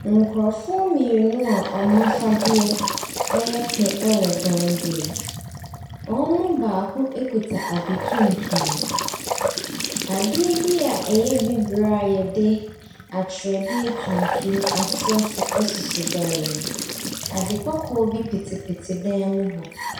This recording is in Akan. Nkurofoɔ mmienu a ɔmo afadeɛ ɛyɛ pɛ ɛwɔ dan bi mu. Wɔn mu baako ekita ade tuntum bi. Adeɛ bi a ɛyɛ bibire a yɛde atwerɛdeɛ tuntum atwerɛ so esi dan nim. Ade kɔkɔɔ bi pitipiti dan mu hɔ.